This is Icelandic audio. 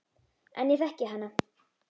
En ég þekki hana.